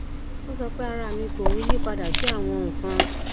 ó sọ pé ara mi ló ń yiípadà sí àwọn nǹkan